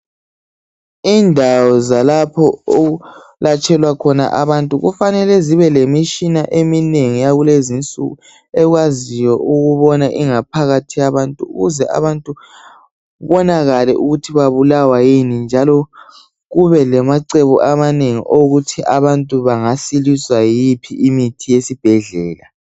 Indawo zalapho okwelatshelwa khona abantu kufanele zibelemitshina eminengi yakulezi insuku ekwaziyo ukubona ingaphakathi yabantu ukuze kubonakale ukuthi babulawa yini njalo kubelamacebo wokuthi abantu bangasiliswa yiphi imithi yesibhedlela.